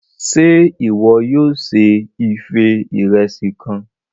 Ṣe iwọ yóò se ife Ìrẹsí kàn?